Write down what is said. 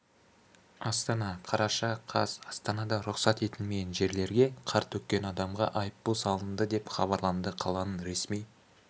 астана қараша қаз астанада рұқсат етілмеген жерлерге қар төккен адамға айыппұл салынды деп хабарлады қаланың ресми